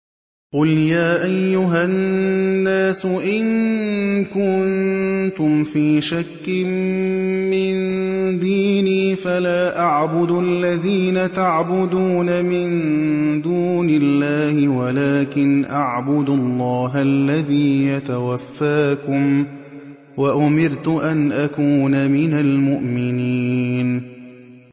قُلْ يَا أَيُّهَا النَّاسُ إِن كُنتُمْ فِي شَكٍّ مِّن دِينِي فَلَا أَعْبُدُ الَّذِينَ تَعْبُدُونَ مِن دُونِ اللَّهِ وَلَٰكِنْ أَعْبُدُ اللَّهَ الَّذِي يَتَوَفَّاكُمْ ۖ وَأُمِرْتُ أَنْ أَكُونَ مِنَ الْمُؤْمِنِينَ